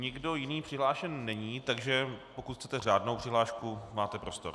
Nikdo jiný přihlášen není, takže pokud chcete řádnou přihlášku, máte prostor.